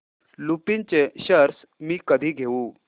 लुपिन चे शेअर्स मी कधी घेऊ